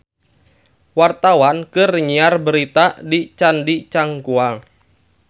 Wartawan keur nyiar berita di Candi Cangkuang